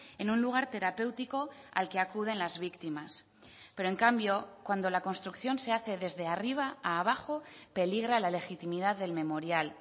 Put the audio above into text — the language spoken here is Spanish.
en un lugar terapéutico al que acuden las víctimas pero en cambio cuando la construcción se hace desde arriba a abajo peligra la legitimidad del memorial